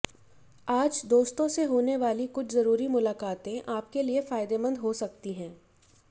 आज दोस्तों से होने वाली कुछ जरूरी मुलाकातें आपके लिए फायदेमंद हो सकती हैं